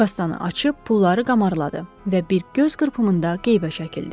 Kassanı açıb pulları qamarladı və bir göz qırpımında qeybə çəkildi.